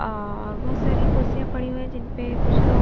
और बहुत सारी कुर्सियाँं पड़ी हुई हैं जिन पे कुछ लोग--